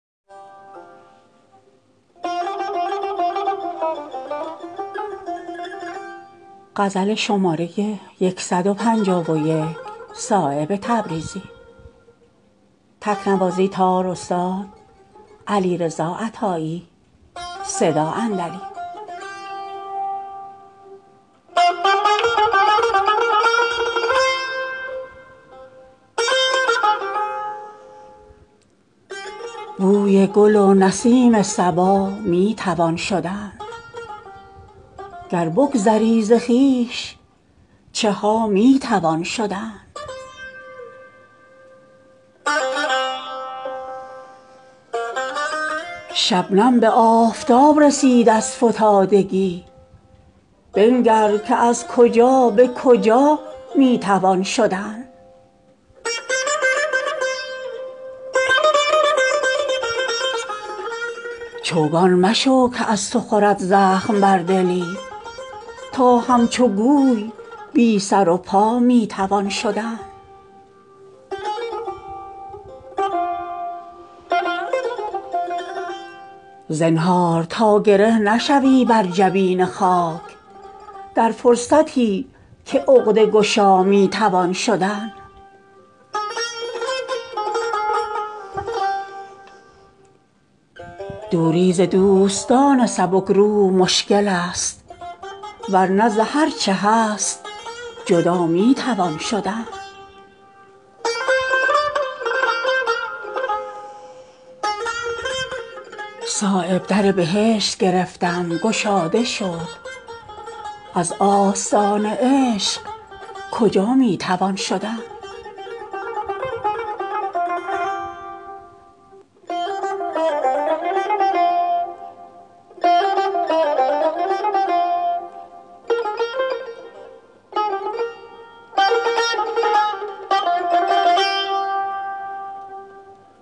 بوی گل و نسیم صبا می توان شدن گر بگذری ز خویش چها می توان شدن شبنم به آفتاب رسید از فتادگی بنگر که از کجا به کجا می توان شدن از آسمان به تربیت دل گذشت آه گر درد هست زود رسا می توان شدن از روی صدق اگر ره مقصود سرکنی گام نخست راهنما می توان شدن چوگان مشو که از تو خورد زخم بر دلی تا همچو گوی بی سر و پا می توان شدن چون نور آفتاب سبکروح اگر شوی بی چوب منع در همه جا می توان شدن گر هست در بساط تو مغز سعادتی قانع به استخوان پر هما می توان شدن در دوزخی ز خوی بد خویش غافلی کز خلق خوش بهشت خدا می توان شدن زنهار تا گره نشوی بر جبین خاک در فرصتی که عقده گشا می توان شدن دوری ز دوستان سبکروح مشکل است ورنه ز هر چه هست جدا می توان شدن اوقات خود به فکر عصا پوچ می کنی در وادیی که رو به قفا می توان شدن صایب در بهشت گرفتم گشاده شد از آستان عشق کجا می توان شدن